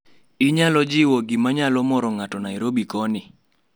inyalo jiwo gima nyalo moro ng`ato nairobi koni